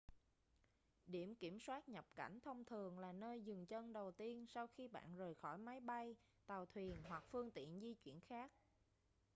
điểm kiểm soát nhập cảnh thông thường là nơi dừng chân đầu tiên sau khi bạn rời khỏi máy bay tàu thuyền hoặc phương tiện di chuyển khác